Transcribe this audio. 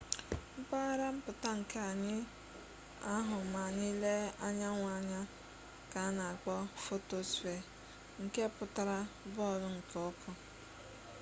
mpaghara mputa nkea anyi ahu ma anyi lee anyanwu anya ka ana akpo photospere nke putara bọọlụ nke ọkụ